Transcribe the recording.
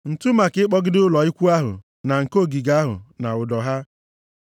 ǹtu maka ịkpọgide ụlọ ikwu ahụ na nke ogige ahụ, na ụdọ ha,